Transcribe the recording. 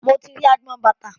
Mo ti rí agbọn bàtà.